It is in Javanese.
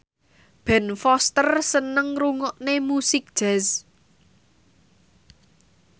Ben Foster seneng ngrungokne musik jazz